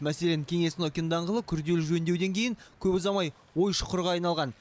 мәселен кеңес нокин даңғылы күрделі жөндеуден кейін көп ұзамай ой шұқырға айналған